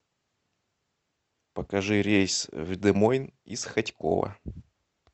покажи рейс в де мойн из хотьково